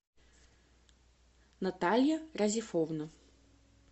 наталья разифовна